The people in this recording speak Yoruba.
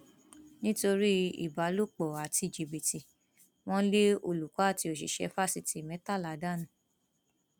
nítorí ìbálòpọ àti jìbìtì wọn lé olùkọ àti òṣìṣẹ fásitì mẹtàlá dànù